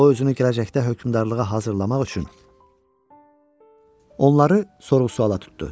O özünü gələcəkdə hökmdarlığa hazırlamaq üçün onları sorğu-suala tutdu.